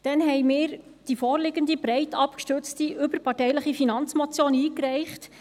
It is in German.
Daraufhin haben wir die vorliegende, breit abgestützte, überparteiliche Finanzmotion eingereicht.